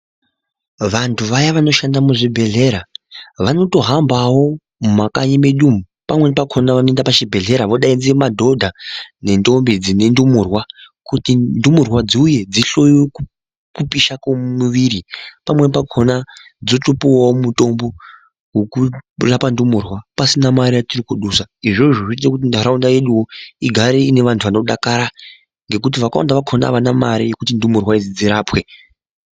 Vantu vaya vanoshanda muzvibhehlera vanotohanbawo mumakanyi medu umu pamweni pakhona vanoenda pachibhedhlera vodaidza madhodha nendombi dzine ndumurwa kuti ndumurwa dziuye dzihloyiwe kupisha kwemuviri pamweni pakhona dzotopuwawo mutombo wokurapa ndumurwa pasina mare yatirinkudusa izvozvo zvinoita kuti ntaraunda yedu igare ine vantu vanodakara ngekuti vakawanda vakhona avana mare yekuti ndumurwa idzi dzirapwe.